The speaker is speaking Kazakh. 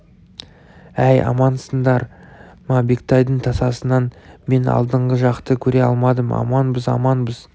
әй амансыңдар ма бектайдың тасасынан мен алдыңғы жақты көре алмадым аманбыз аманбыз